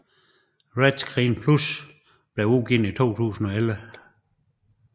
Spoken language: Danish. RETScreen Plus blev udgivet i 2011